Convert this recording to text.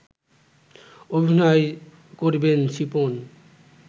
অভিনয় করবেন শিপন